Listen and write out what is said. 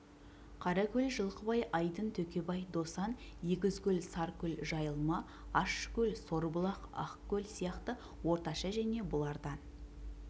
қаракөл жылқыбай айдын төкебай досан егізкөл саркөл жайылма ащыкөл сорбұлақ ақкөл сияқты орташа және бұлардан